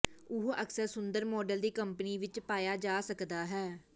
ਉਹ ਅਕਸਰ ਸੁੰਦਰ ਮਾਡਲ ਦੀ ਕੰਪਨੀ ਵਿੱਚ ਪਾਇਆ ਜਾ ਸਕਦਾ ਹੈ